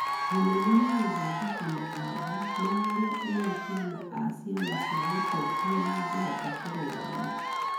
mũnene niagũthondeka mawatho ma ũrĩa ene kĩama a ciama cĩa ũtetĩ mangĩhota kũrũgamĩo